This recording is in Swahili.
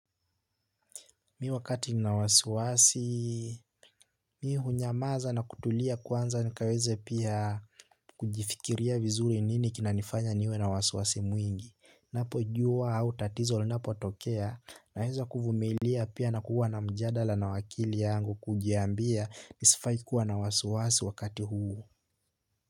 Mi wakati ni na wasiwasi mi hunyamaza na kutulia kwanza nikaweze pia kujifikiria vizuri nini kinanifanya niwe na wasiwasi mwingi. Napo jua au tatizo linapo tokea naeza kuvumilia pia na kuwa na mjadala na wakili yangu kujiambia nisifai kuwa na wasuwasi wakati huu Muzika.